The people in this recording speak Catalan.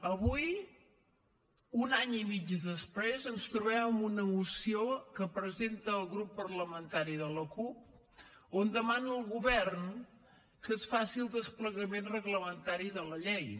avui un any i mig després ens trobem amb una moció que presenta el grup parlamentari de la cup on demana al govern que es faci el desplegament reglamentari de la llei